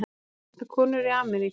Amma, vantar konur í Ameríku?